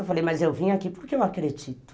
Eu falei, mas eu vim aqui porque eu acredito.